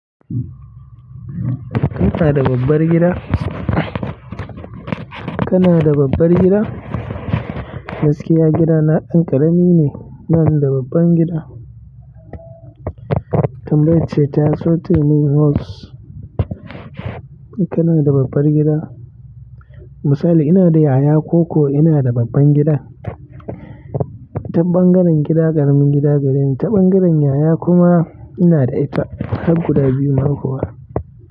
Kana da babbar gida? Kana da babbar gida? Gaskiya gidana ɗan ƙarami ne, bani da babban gida. Tambayarce taso taiman worst. Kana da babbar gida? Misali ina da yaya ko ko ina da babban gida? Taɓangaren gida ƙaramin gida gareni, ta bangaren yaya inada ita har guda biyu ma kuwa.